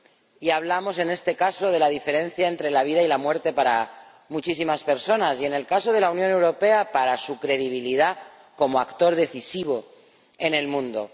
Y hablamos en este caso de la diferencia entre la vida y la muerte para muchísimas personas y, en el caso de la Unión Europea, para su credibilidad como actor decisivo en el mundo.